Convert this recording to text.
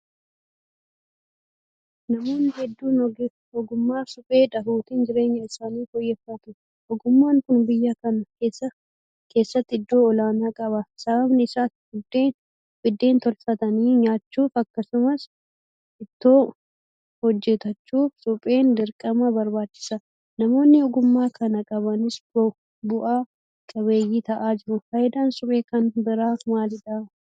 Namoonni hedduun ogummaa Suphee dhahuutiin jireenya isaanii fooyyeffatu. Ogummaan kun biyya kana keessatti iddoo olaanaa qaba. Sababni isaan Biddeen tolfatanii nyaachuuf akkasuman Ittoo hojjetachuuf supheen dirqama barbaachisa. Namoonni ogummaa kana qabanis bu'a qabeeyyii ta'aa jiru. Faayidaan Suphee kan biraa maalidha?